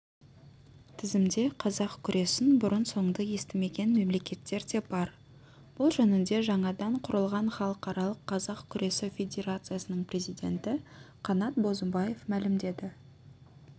тізімде қазақ күресін бұрын-соңды естімеген мемлекеттер де бар бұл жөнінде жаңадан құрылған халықаралық қазақ күресі федерациясының президенті қанат бозымбаев мәлімдеді